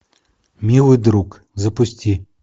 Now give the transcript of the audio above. милый друг запусти